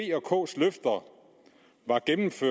var